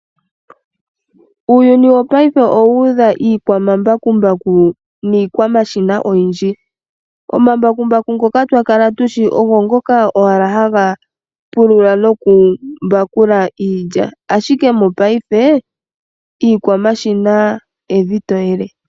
Uuyuni wopaife owu udha iikwamambakumbaku niikwamashina oyindji. Omambakumbaku ngoka twakala tushi ogo ngoka owala ha ga pulula no ku mbakula iilya, ashike mopaife iikwamashina evi toyele.